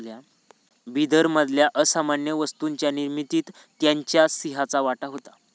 बिदरमधल्या असामान्य वस्तूंच्या निर्मितीत त्यांच्या सिंहाचा वाटा होता